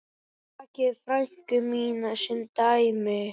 Takið frænku mína sem dæmi.